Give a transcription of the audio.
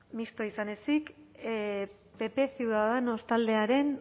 mistoa izan ezik pp ciudadanos taldearen